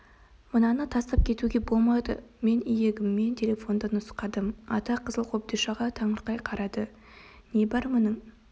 мынаны тастап кетуге болмайды мен иегіммен телефонды нұсқадым ата қызыл қобдишаға таңырқай қарады не бар мұның